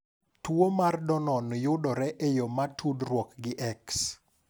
Tuwo mar Dannon yudore e yo ma tudruok gi X.